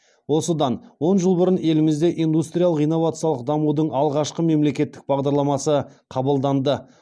осыдан он жыл бұрын елімізде индустриялық инновациялық дамудың алғашқы мемлекеттік бағдарламасы қабылданды